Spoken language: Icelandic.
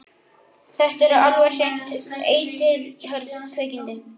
Þetta eru alveg hreint eitilhörð kvikindi.